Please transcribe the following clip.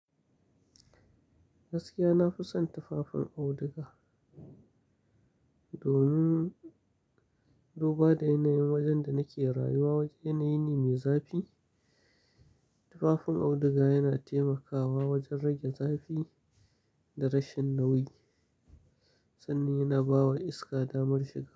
Gaskiya na fi son tufafin auduga. Domin, domin duba da yanayin wajen da nake rayuwa wajen yanayi ne mai zafi. Tufafin auduga yana taimakawa wajen rage zafi da rashin nauyi sannan yana bawa iska damar shiga.